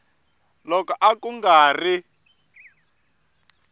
loko a ku nga ri